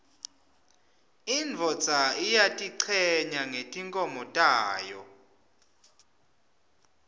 indvodza iyatichenya ngetimkhomo tayo